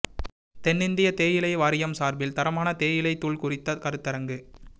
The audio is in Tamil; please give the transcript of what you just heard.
தென்னிந்திய தேயிலை வாரியம் சாா்பில் தரமான தேயிலைத் தூள் குறித்த கருத்தரங்கு